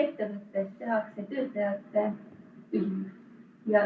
Ma küsin teise poole uuesti.